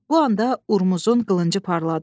Bu anda Urmuzun qılıncı parladı.